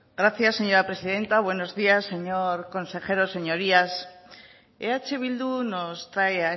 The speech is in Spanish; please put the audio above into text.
gracias señora presidenta buenos días señor consejero señorías eh bildu nos trae